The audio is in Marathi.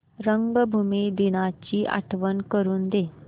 रंगभूमी दिनाची आठवण करून दे